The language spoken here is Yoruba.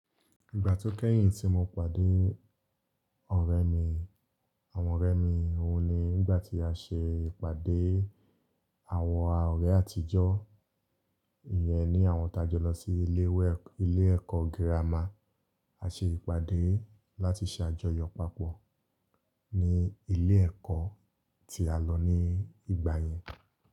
Ìgbà tó kẹ́yìn tí mo pàdé ọ̀rẹ́ mi, àwọn ọ̀rẹ́ mi, òun ni nígbà tí a ṣe ìpàdé àwọn ọ̀rẹ́ àtijọ́, ìyẹn ní àwọn táa jọ lọ sí ilé ẹkọ girama, a ṣe ìpàdé láti ṣe àjọyọ̀ papọ̀ ní ilé ẹ̀kọ́ tí a lọ ní ìgbà yẹn.